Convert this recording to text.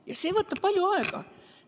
Ja see võtab palju aega.